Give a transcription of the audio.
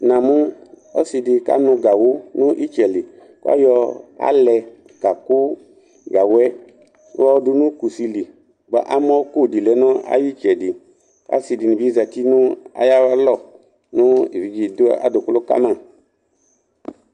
Namʊ ɔsɩ dɩ kanʊ gawʊ n'ɩtsɛ li K'ayɔ alɛ ka kʊ gawʊ yɛ yɔ dʊ nʊ kusi li Bʊa ,amɔko dɩ lɛ nʊ ayʊ ɩtsɛdɩ Asɩ dɩnɩ bɩ zati nʊ ay'alɔ nʊ ebidze dʊ adʊkʊlʊ ka ma